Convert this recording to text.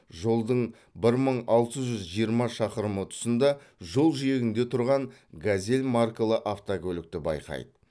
жолдың бір мың алты жүз жиырма шақырымы тұсында жол жиегінде тұрған газель маркалы автокөлікті байқайды